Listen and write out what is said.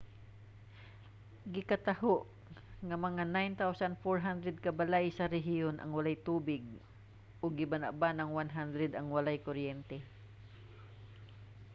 gikataho nga mga 9400 ka balay sa rehiyon ang walay tubig ug gibana-banang 100 ang walay kuryente